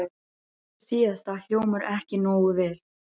Þetta síðasta hljómar ekki nógu vel.